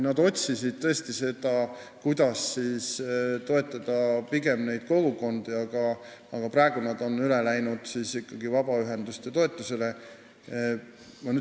Nad tõesti otsisid seda võimalust, kuidas pigem kiriku kogukondi toetada, aga praeguseks on nad vabaühenduste toetamisele üle läinud.